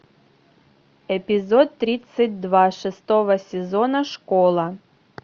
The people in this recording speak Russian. эпизод тридцать два шестого сезона школа